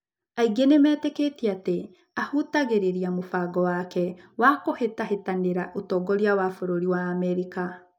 Aingĩ nĩmetĩkĩtie atĩ ahutagĩrĩria mũbango wake wa kũhitahĩtanĩra ũtongoria wa bũrũri wa America